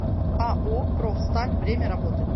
ао профсталь время работы